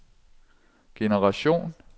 generation